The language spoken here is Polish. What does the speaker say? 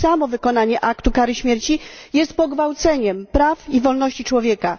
Już samo wykonanie kary śmierci jest pogwałceniem praw i wolności człowieka.